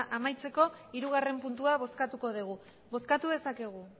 amaitzeko hirugarren puntua bozkatuko dugu bozkatu dezakegu